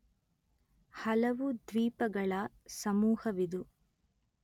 ಹಲವು ದ್ವೀಪಗಳ ಸಮೂಹವಿದು